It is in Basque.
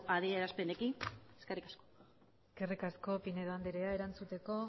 adierazpenekin eskerrik asko eskerrik asko pinedo andrea erantzuteko